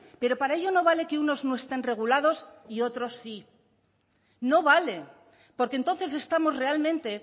pero para ello no vale que unos no estén regulados y otros sí no vale porque entonces estamos realmente